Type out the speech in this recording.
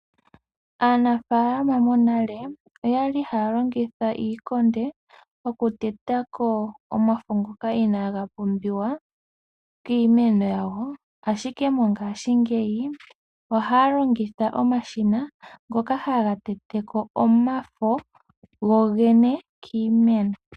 Aanafalama monale oyali haya longitha iikonde okuteta ko omafo ngono inaga pumbiwa kiimeno yawo. Ashike mongashingeyi ohaya longitha omashina ngono haga tete ko omafo go gene ngono inaga pumbiwa.